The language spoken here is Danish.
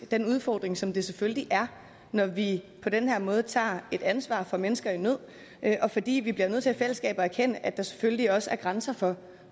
den udfordring som det selvfølgelig er når vi på den her måde tager et ansvar for mennesker i nød og fordi vi bliver nødt til i fællesskab at erkende at der selvfølgelig også er grænser for